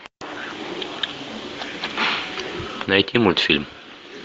найти мультфильм